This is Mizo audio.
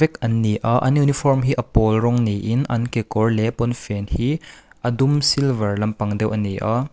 vek an ni a an uniform hi a pawl rawng niin an kekawr leh pawnfen hi a dum silver lampang deuh a ni a.